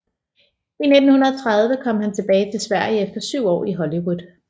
I 1930 kom han tilbage til Sverige efter syv år i Hollywood